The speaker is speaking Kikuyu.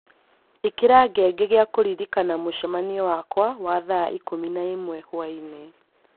ĩkĩra ngengeregia kũririkana mũcemanio wakwa wa thaa ikũmi na ĩmwe hwaĩ-inĩ.